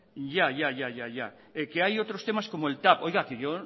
hay otros temas como el tav oiga que